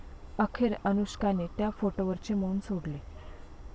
अखेर अनुष्काने त्या फोटोवरचे मौन सोडले